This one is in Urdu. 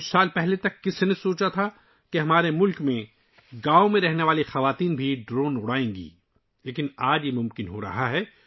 چند سال پہلے تک کس نے سوچا ہوگا کہ ہمارے ملک میں گاؤوں میں رہنے والی خواتین بھی ڈرون اڑائیں گی لیکن آج یہ ممکن ہو رہا ہے